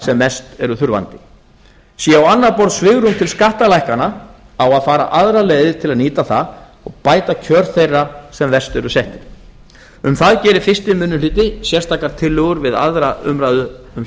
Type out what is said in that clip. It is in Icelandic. sem mest eru þurfandi sé á annað borð svigrúm til skattalækkana á að fara aðra leið til að nýta það og bæta kjör þeirra sem verst eru settir um það gerir fyrsti minnihluti sérstakar tillögur við aðra umræðu um